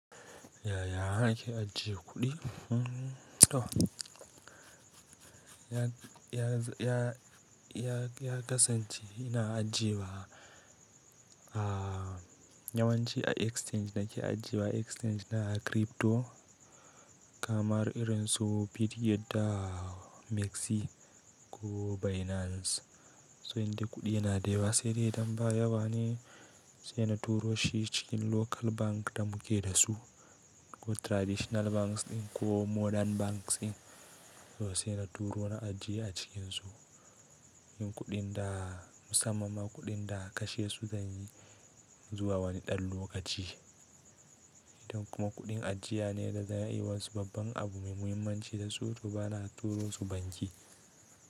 Yaya ake ajiye kuɗi? Ya kasance ina ajiye wa Yawanci a exchange nake ajjiye wa, exchange na crypto kamar irin su Bitget da MEXC ko Binance. So indai kuɗi yana da yawa, se dai idan ba yawa ne, sai na turo shi cikin local bank da muke da su. Ko traditional banks ko modern banks in. Sai na turo na ajiye a cikin su, in kuɗin da musamman ma kuɗin da kashe su zanyi. Zuwa wani ɗan lokaci. Kuma kuɗin ajiya ne da za ai wa su babban abu mai muhimmanci da su to bana turo su banki.